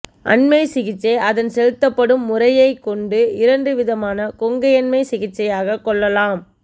அண்மை சிகிச்சை அதன் செலுத்தப்படும் முறையைக்கொண்டு இரண்டு விதமான கொங்கையண்மைச் சிகிச்சையாகக் கொள்ளலாம்